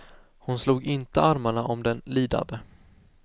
Hon slog inte armarna om den lidande.